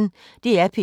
DR P1